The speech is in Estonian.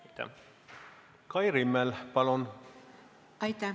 Aitäh!